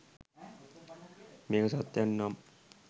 මේක සත්‍යයක් නම්